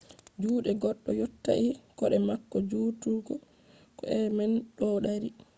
juɗe goɗɗo yottai koɗe mako jutugo ko e’al man ɗo dari